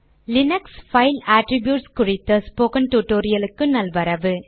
Linux file attributes குறித்த spoken டுடோரியலுக்கு நல்வரவு